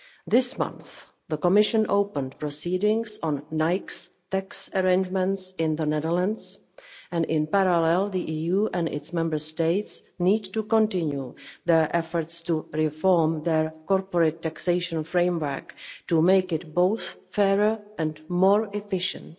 This month the Commission opened proceedings on Nike's tax arrangements in the Netherlands. In parallel, the EU and its Member States need to continue their efforts to reform their corporate taxation framework to make it both fairer and more efficient.